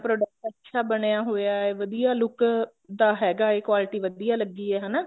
product ਅੱਛਾ ਬਣਿਆ ਹੋਇਆ ਹੈ ਵਧੀਆ look ਦਾ ਹੈਗਾ ਐ quality ਵਧੀਆ ਲੱਗੀ ਐ ਹਨਾ